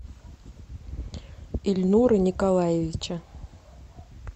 ильнура николаевича